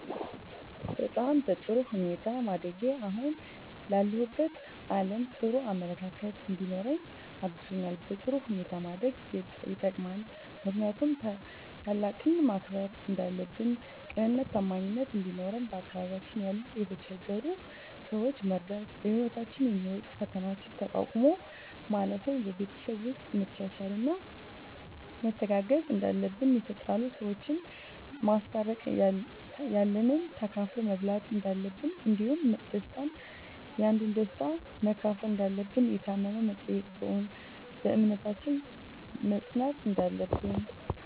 በጣም በጥሩ ሁኔታ ማደጌ አሁን ላለሁበት አለም ጥሩ አመለካከት እንዲኖረኝ አግዞኛል በጥሩ ሁኔታ ማደግ የጠቅማል ምክንያቱም ታላቅን ማክበር እንዳለብን ቅንነትና ታማኝነት እንዲኖረን በአካባቢያችን ያሉ የተቸገሩ ሰዎችን መርዳት በህይወታችን የሚመጡ ፈተናዎችን ተቋቁሞ ማለፍ ን በቤተሰብ ውስጥ መቻቻልና መተጋገዝ እንዳለብን የተጣሉ ሰዎችን ማስታረቅ ያለንን ተካፍሎ መብላት እንዳለብን እንዲሁም ደስታን ያንዱን ደስታ መካፈል እንዳለብን የታመመ መጠየቅን በእምነታችን መፅናት እንዳለብን